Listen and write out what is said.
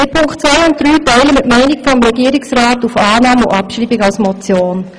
Bei Punkt 2 und 3 sind wir wie der Regierungsrat für Annahme und Abschreibung als Motion.